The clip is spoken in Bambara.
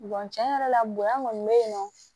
cɛn yɛrɛ la bonya kɔni be yen nɔ